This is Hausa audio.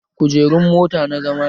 Kujerun mota na zama ne